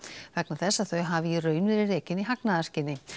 vegna þess að þau hafi í raun verið rekin í hagnaðarskyni